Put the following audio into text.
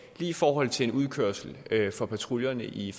i forhold til en udkørsel for patruljerne i